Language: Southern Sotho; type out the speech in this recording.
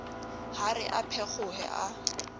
ha re a phekgohe a